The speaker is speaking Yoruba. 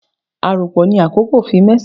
A aranpo ni akoko fi mẹsan